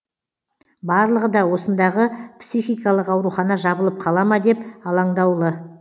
барлығы да осындағы психикалық аурухана жабылып қала ма деп алаңдаулы